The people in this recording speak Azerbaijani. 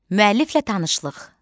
Müəlliflə tanışlıq.